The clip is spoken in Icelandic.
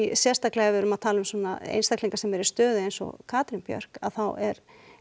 sérstaklega ef við erum að tala um einstaklinga sem eru stöðu eins og Katrín Björk að þá er